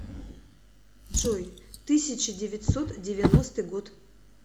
джой тысяча девятьсот девяностый год